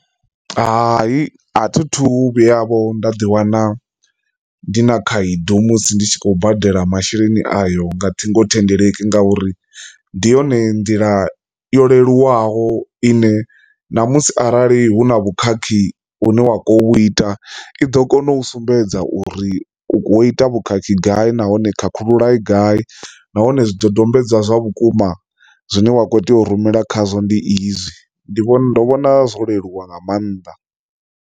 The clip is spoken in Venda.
Hai, a thi thu vhuya vho nda ḓi wana ndi na khaedu musi ndi tshi khou badela masheleni ayo nga ṱhingothendeleki ngauri ndi yone nḓila yo leluwaho ine na musi arali hu na vhukhakhi une wa khou vhu ita i ḓo kona u sumbedza uri u kho ita vhukhakhi gai nahone khakhulula gai nahone zwidodombedzwa zwa vhukuma zwine wa kho tea u rumela khazwo ndi izwi ndi vhona ndo vhona zwo leluwa nga maanḓa.